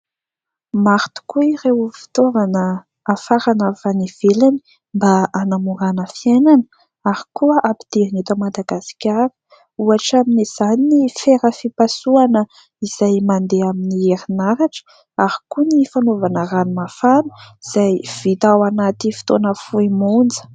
Maro tokoa ireo fitaovana afarana avy any ivelany mba hanamorana fiainana ary koa ampidirina eto Madagasikara. Ohatra amin'izany ny fera fipasohana izay mandeha amin'ny herin'aratra ary koa ny fanaovana rano mafana izay vita ao anatin'ny fotoana fohy monja.